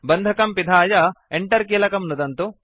बन्धकं पिधाय Enter किलकं नुदन्तु